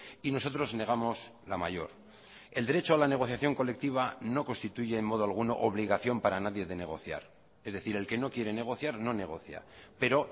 y nosotros negamos la mayor el derecho a la negociación colectiva no constituye en modo alguno obligación para nadie de negociar es decir el que no quiere negociar no negocia pero